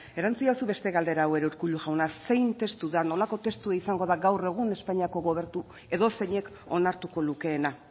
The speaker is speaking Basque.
erantzuidazu beste galdera hau ere urkullu jauna zein testu da nolako testua izango da gaur egun espainiako gobernu edozeinek onartuko lukeena